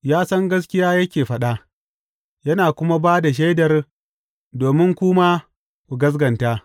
Ya san gaskiya yake faɗa, yana kuma ba da shaidar domin ku ma ku gaskata.